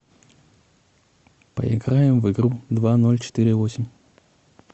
поиграем в игру два ноль четыре восемь